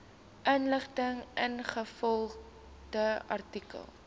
inligting ingevolge artikel